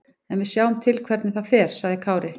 En við sjáum til hvernig það fer, sagði Kári.